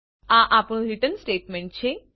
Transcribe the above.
આ આપણું return statement છે